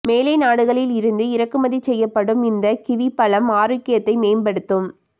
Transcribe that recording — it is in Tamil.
மேலை நாடுகளிலிருந்து இறக்குமதி செய்யப்படும் இந்தக் கிவி பழம் ஆரோக்கியத்தை மேம்படுத்தும்